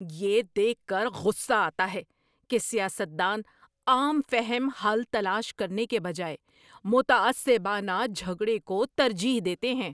یہ دیکھ کر غصہ آتا ہے کہ سیاست دان عام فہم حل تلاش کرنے کے بجائے متعصبانہ جھگڑے کو ترجیح دیتے ہیں۔